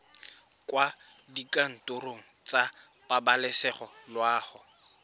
kwa dikantorong tsa pabalesego loago